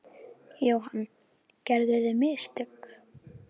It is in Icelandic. Jóhann: Gerðuð þið mistök?